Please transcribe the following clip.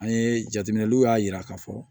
An ye jateminɛw y'a yira k'a fɔ